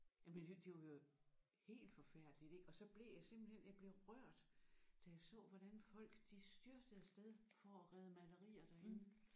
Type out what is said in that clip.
Jamen det det var jo helt forfærdeligt ik og så blev jeg simpelthen jeg blev rørt da jeg så hvordan folk de styrtede af sted for at rede malerier derinde